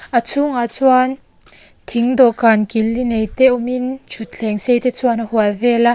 a chhungah chuan thing dawhkan kil li nei te awmin thuthleng sei te chuan a hual vel a.